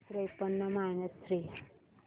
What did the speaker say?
त्रेपन्न minus three